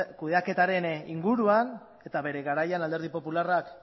kudeaketaren inguruan eta bere garaian alderdi popularrak